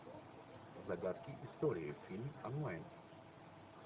загадки истории фильм онлайн